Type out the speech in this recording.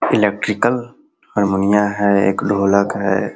Electrical harmonium है एक ढोलक है।